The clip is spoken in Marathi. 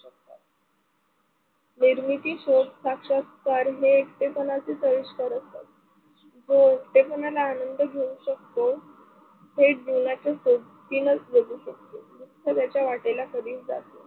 निर्मिती, शोध, साक्षात्कार ही एकटेपणाच हो ते पण आनंद घेऊ शकतो. थेट जीवनाचा सोबतीन जगू शकतो. दुसऱ्याच्या वाटेल कधीच जात नाही.